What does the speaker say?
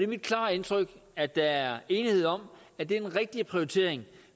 mit klare indtryk at der er enighed om at det er den rigtige prioritering